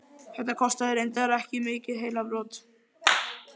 Þetta kostaði reyndar ekki mikil heilabrot.